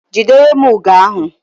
Jidere m ugo ahu!